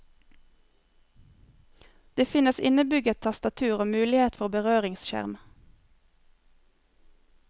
Det finnes innebygget tastatur og mulighet for berøringsskjerm.